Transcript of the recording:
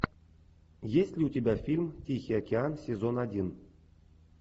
есть ли у тебя фильм тихий океан сезон один